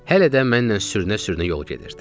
Hələ də mənlə sürünə-sürünə yol gedirdi.